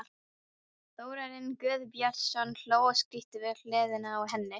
Þórarinn Guðbjörnsson hló og skríkti við hliðina á henni.